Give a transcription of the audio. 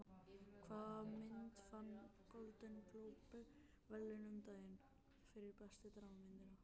Hvaða mynd vann Golden Globe verðlaunin um daginn fyrir bestu dramamynd?